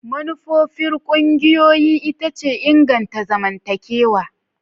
Manufar ƙungiyoyi ita ce inganta zamantakewa.